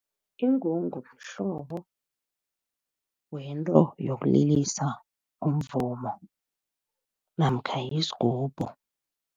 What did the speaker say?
Ingungu mhlobo wento yokulilisa umvumo namkha yisgubhu.